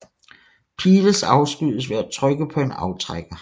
Piles afskydes ved at trykke på en aftrækker